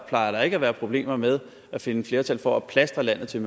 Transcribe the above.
plejer at være problemer med at finde flertal for at plastre landet til